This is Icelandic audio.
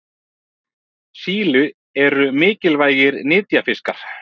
síli eru mikilvægir nytjafiskar